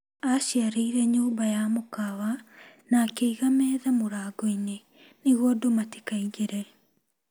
Aciareire nyũmba ya mũkawa na akĩiga metha mũrango-inĩ nĩguo andũ matikeeingĩre.